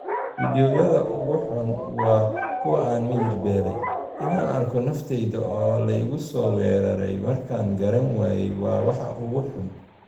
Fiidiyowyada ugu xun waa kuwa aan miyir beelay. In aan arko naftayda oo la igu soo weeraray markaan garan waayey waa waxa ugu xun.